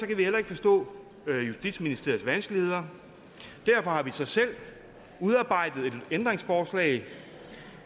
kan vi heller ikke forstå justitsministeriets vanskeligheder derfor har vi så selv udarbejdet et ændringsforslag